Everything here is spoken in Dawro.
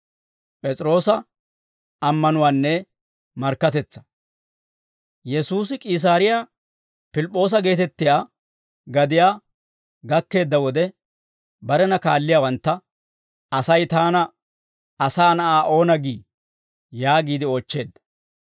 Yesuusi K'iisaariyaa Piliip'p'oosa geetettiyaa gadiyaa gakkeedda wode, barena kaalliyaawantta, «Asay taana, Asaa Na'aa oona gii?» yaagiide oochcheedda.